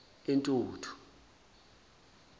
intuthu